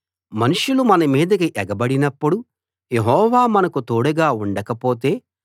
మనుషులు మన మీదికి ఎగబడినప్పుడు యెహోవా మనకు తోడుగా ఉండకపోతే